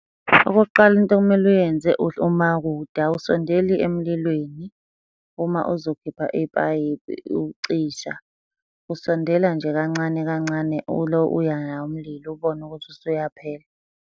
Okokuqala into okumele uyenze uma kude awusondeli emlilweni uma uzokhipha ipayipi ukucisha. Usondela nje kancane kancane ulo uya nawo umlilo ubone ukuthi usuyaphela.